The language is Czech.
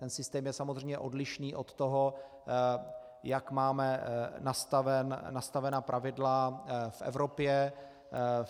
Ten systém je samozřejmě odlišný od toho, jak máme nastavena pravidla v Evropě.